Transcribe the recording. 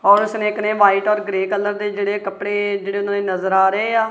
ਔਰ ਉਸ ਨੇ ਇੱਕ ਨੇ ਵਾਈਟ ਔਰ ਗ੍ਰੇਯ ਕਲਰ ਦੇ ਜਿਹੜੇ ਕੱਪੜੇ ਜਿਹੜੇ ਉਹਨਾਂ ਨੇ ਨਜ਼ਰ ਆ ਰਹੇ ਆ।